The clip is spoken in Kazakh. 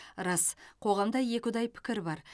рас қоғамда екіұдай пікір бар